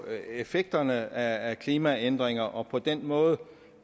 effekterne af klimaændringer og på den måde